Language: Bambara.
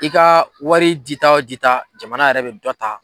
I ka wari jita o dita jamana yɛrɛ bɛ dɔ ta.